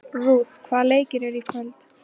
Ruth, hvaða leikir eru í kvöld?